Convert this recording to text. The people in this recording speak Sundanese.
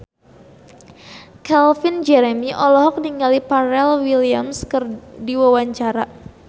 Calvin Jeremy olohok ningali Pharrell Williams keur diwawancara